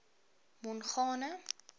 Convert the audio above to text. mongane